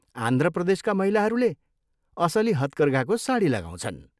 आन्ध्र प्रदेशका महिलाहरूले असली हतकर्घाको साडी लगाउँछन्।